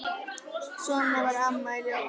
Svona var Amma í Ljós.